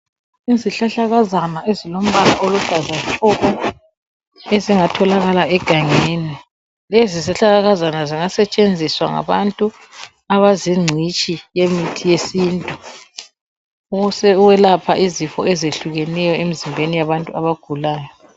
Izihlahlakazana ezilombala oluhlaza tshoko, ezingatholakala egangeni lezi zihlahlakazana zingasetshenziswa ngabantu abazingcitshi yemithi yesintu ,ukwelapha izifo ezehlukeneyo emzimbeni yabantu abagulayo.